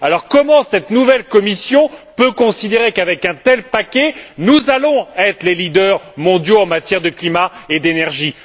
Alors, comment cette nouvelle Commission peut elle considérer qu'avec un tel paquet nous allons être les leaders mondiaux en matière de climat et d'énergie?